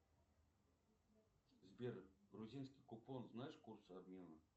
сбер грузинский купон знаешь курсы обмена